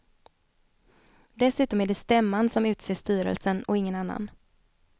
Dessutom är det stämman som utser styrelsen och ingen annan.